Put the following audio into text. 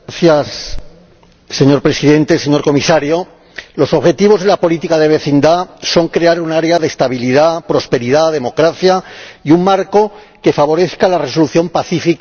Señor Presidente, señor Comisario, los objetivos de la política de vecindad son crear un área de estabilidad, prosperidad y democracia y un marco que favorezca la resolución pacífica de conflictos.